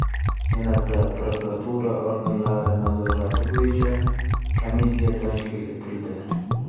Senatda prokuratura organlari nazorati bo‘yicha komissiya tashkil etildi.